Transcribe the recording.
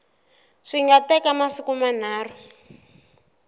swi nga teka masiku manharhu